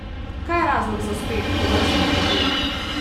Kaj je razlog za uspeh tovrstnih vozil?